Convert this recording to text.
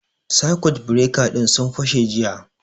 Sakut bireka ɗin sun fashe jiya